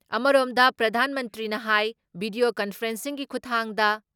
ꯑꯃꯔꯣꯝꯗ, ꯄ꯭ꯔꯙꯥꯟ ꯃꯟꯇ꯭ꯔꯤꯅ ꯍꯥꯏ ꯚꯤꯗꯤꯌꯣ ꯀꯟꯐꯔꯦꯟꯁꯤꯡꯒꯤ ꯈꯨꯊꯥꯡꯗ